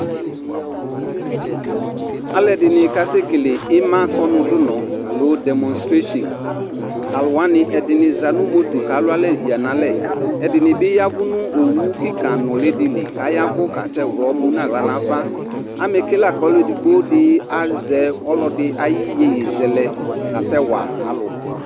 Alʋɛdɩnɩ k'asɛkele ɩmakɔnʋdʋnɔ nɩɩ (demonstration):talʋwanɩ ɛdɩnɩ za nʋ moto k'alʋalɛ yǝ n'alɛ ; ɛdɩnɩ bɩ yavʋ nʋ owu kɩka nʋlɩdɩ li k'ayavʋ k'asɛ ɣlɔ, mu n'aɣla n'ava Amɛke la k'ɔlʋ edigbodɩ azɛ ɔlɔdɩ ay'iyeyezɛlɛ k'asɛ wa alʋ